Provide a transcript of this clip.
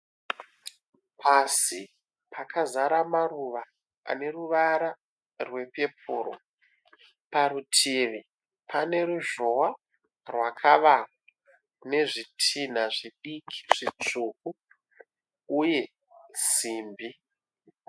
Pasi pakazara maruva ane ruvara rwepepuru. Parutivi pane ruzhowa rwakavakwa nezvitinha zvidiki zvitsvuku uye simbi.